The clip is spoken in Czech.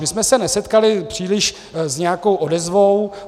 My jsme se nesetkali příliš s nějakou odezvou.